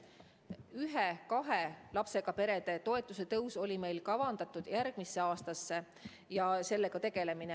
Ühe-kahe lapsega perede toetuse tõus, sellega tegelemine, oli kavandatud järgmiseks aastaks.